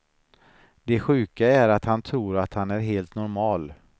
Det sjuka är att han tror att han är helt normal.